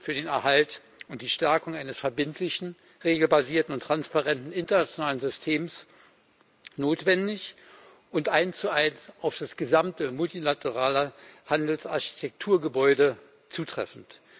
für den Erhalt und die Stärkung eines verbindlichen, regelbasierten und transparenten internationalen Systems wichtig und notwendig und eins zu eins auf das gesamte, multilaterale Handelsarchitekturgebäude zutreffend.